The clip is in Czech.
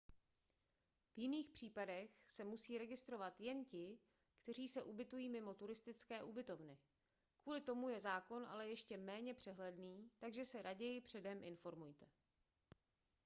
v jiných případech se musí registrovat jen ti kteří se ubytují mimo turistické ubytovny kvůli tomu je zákon ale ještě méně přehledný takže se raději předem informujte